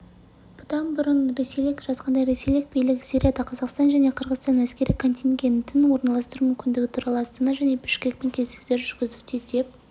бұдан бұрын ресейлік жазғандай ресейлік билік сирияда қазақстан және қырғызстанның әскери контингентін орналастыру мүмкіндігі туралы астана және бішкекпен келіссөздер жүргізуде деп